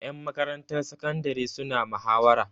Ƴan makarantar sakandare suna muhawara.